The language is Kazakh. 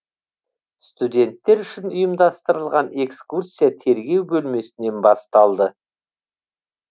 студенттер үшін ұйымдастырылған экскурсия тергеу бөлмесінен басталды